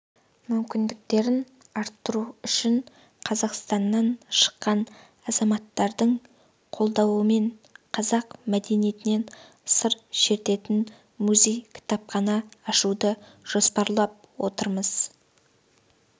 мүмкіндіктерін арттыру үшін қазақстаннан шыққан азаматтардың қолдауымен қазақ мәдениетінен сыр шертетін музей-кітапхана ашуды жоспарлап отырмыз